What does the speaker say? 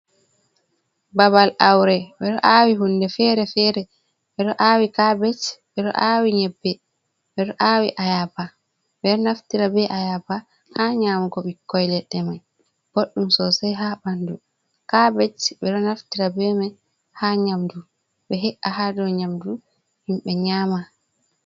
Babal awre ɓe ɗo awi hunɗe fere-fere ɓe do awi kabej ɓe do awi nyebbe ɓe do awi ayaba ɓe do naftira be ayaba ha nyamugo bikkoi ledde mai boddum sosai ha bandu kabej ɓe do naftira be mai ha nyamdu ɓe he’a ha dow nyamdu himbe nyama.